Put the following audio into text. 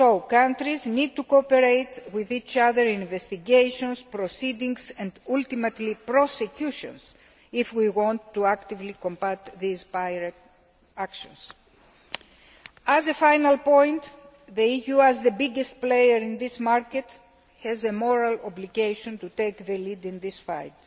Countries need to cooperate with each other in investigations, proceedings, and ultimately prosecutions if we want to actively combat these pirate' actions. As a final point, the EU as the biggest player in this market has a moral obligation to take the lead in this fight.